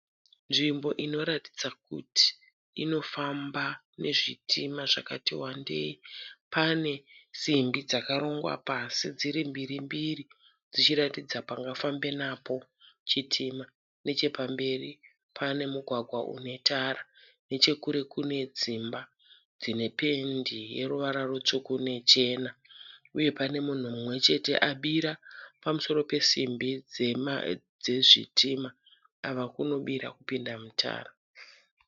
Nzvimbo inoratidza kuti inofamba nezvitima zvakati wandei. Pane simbi dzakarongwa pasi dziri mbiri mbiri dzichiratidza panga famba napo chitima. Nechepamberi pane mugwagwa unetara. Nechekure kune dzimba dzine pendi yeruvara rutsvuku nechena uye pane munhu mumwechete abira pamusoro simbi yezvitima ava kunobira kupinda mutara.